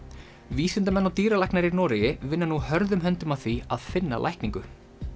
vísindamenn og dýralæknar í Noregi vinna nú hörðum höndum að því að finna lækningu